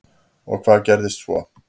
Og hvað gerðist svo?